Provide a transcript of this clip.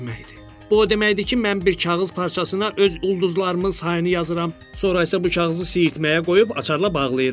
Bu o deməkdir ki, mən bir kağız parçasına öz ulduzlarımın sayını yazıram, sonra isə bu kağızı siirtməyə qoyub açarla bağlayıram.